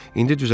"İndi düzəlib."